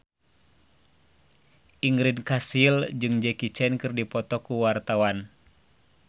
Ingrid Kansil jeung Jackie Chan keur dipoto ku wartawan